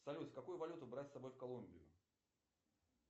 салют какую валюту брать с собой в колумбию